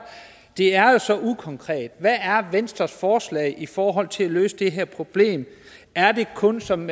det er jo så ukonkret hvad er venstres forslag i forhold til at løse det her problem er det kun som